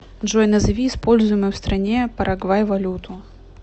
джой назови используемую в стране парагвай валюту